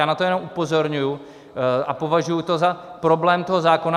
Já na to jenom upozorňuji a považuji to za problém toho zákona.